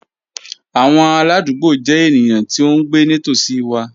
Awọn aladugbo jẹ eniyan ti o ngbe nitosi wa